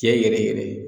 Tiɲɛ yɛrɛ yɛrɛ